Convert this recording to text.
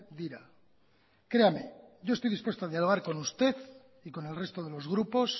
dira creame yo estoy dispuesto a dialogar con usted y con el resto de los grupos